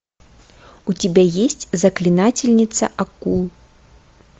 у тебя есть заклинательница акул